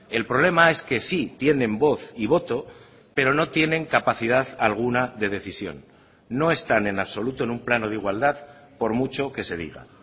el problema es que sí tienen voz y voto pero no tienen capacidad alguna de decisión no están en absoluto en un plano de igualdad por mucho que se diga